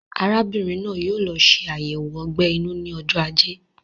Arábìnrin náà yóò lọ ṣe ayẹwo ogbè inú ní ojó ajé